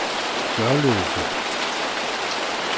Gørløse